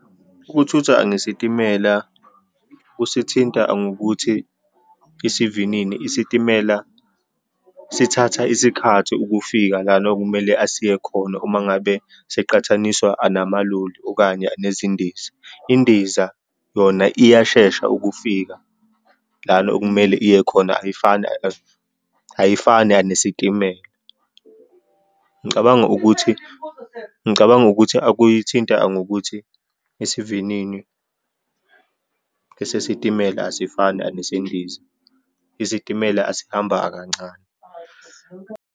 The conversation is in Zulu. Ukuthutha ngesitimela kusithinta ngokuthi, isivinini isitimela sithatha isikhathi ukufika lana okumele asiye khona uma ngabe siqathaniswa anamaloli, okanye nezindiza. Indiza yona iyashesha ukufika lana okumele iye khona, ayifana nesitimela. Ngicabanga ukuthi, ngicabanga ukuthi akuyithinta ngokuthi isivinini esesitimela asifani anesendiza. Isitimela asihamba kancane.